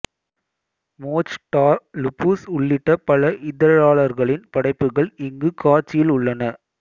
Mochtar Lubis உள்ளிட்ட பல இதழாளர்களின் படைப்புகள் இங்கு காட்சியில் உள்ளன